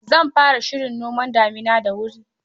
Zan fara shirin noman damina da wuri.